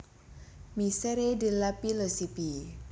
Misère de la philosophie